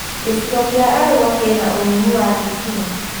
Gĩcigo kĩa Arua kĩna ũnyihu wa thitima